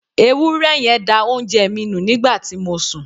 Ewúré yen da oúnje mi nu nígbàti mo sun